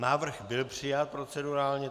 Návrh byl přijat procedurálně.